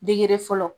Degere fɔlɔ